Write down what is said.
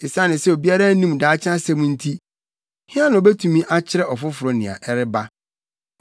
Esiane sɛ obiara nnim daakye asɛm nti, hena na obetumi akyerɛ ɔfoforo nea ɛreba?